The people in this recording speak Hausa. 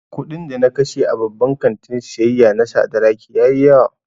Kuɗin da na kashe a babban kantin siyayya na Sadaraki ya yi yawa